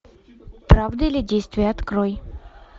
правда или действие открой